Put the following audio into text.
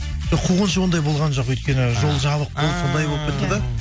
қуғыншы ондай болған жоқ өйткені жол жабық болды сондай болып кетті да